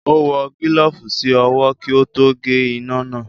Ó wọ gílọ̀ọ̀fù sí ọwọ́ kí ó tó gé iná náà